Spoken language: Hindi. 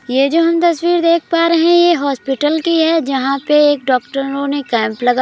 ये जो हम तस्वीर देख पा रहे हैं ये हॉस्पिटल की है जहां पे एक डॉक्टरों ने केम्प लगा --